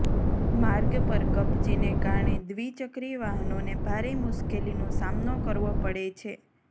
માર્ગ પર કપચીને કારણે દ્વિચક્રી વાહનોને ભારે મુશકેલીનો સામનો કરવો પડે છે